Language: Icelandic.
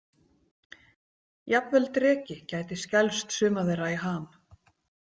Jafnvel dreki gæti skelfst suma þeirra í ham.